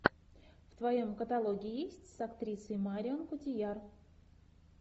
в твоем каталоге есть с актрисой марион котийяр